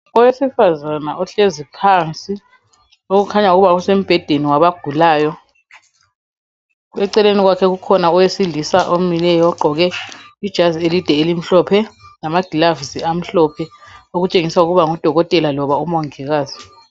Owesifazana ohlezi phansi okhanya ukuba usembhedeni wabagulayo, eceleni kwakhe kukhona owesilisa omileyo ogqoke ijazi elide elimhlophe lamagilavusi amhlophe okutshengisa ukuba ngudokotela loba umongikazi.